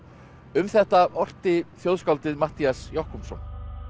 um þetta orti þjóðskáldið Matthías Jochumsson